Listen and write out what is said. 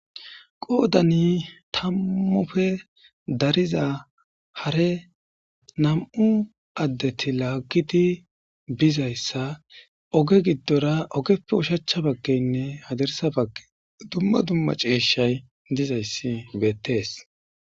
qoodani tammufe dariza hare nam7u addeti laaggiti bizayssa oge giddora ogeppe ushachcha baggeynne hadersa bagge dumma dumma ceeshshay dizayssi beettees